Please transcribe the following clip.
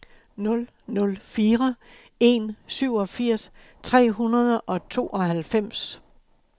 nul nul fire en syvogfirs tre hundrede og tooghalvfems